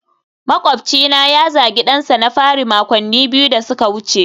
makwabcina ya zagi dansa na fari makonni biyu da suka wuce